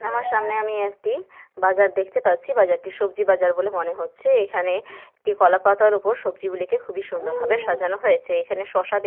আমার সামনে আমি একটি বাজার দেখতে পাচ্ছি। বাজারটি সবজি বাজার বলে মনে হচ্ছে এখানে একটি কলা পাতার ওপর সবজি গুলিকে খুব সুন্দর ভাবে সাজানো হয়েছে। এখানে শশা দেখতে --